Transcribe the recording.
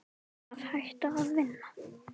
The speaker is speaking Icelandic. Að hætta að vinna?